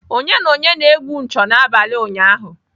Onye na onye na-egwu ncho n'abalị ụnyaahụ?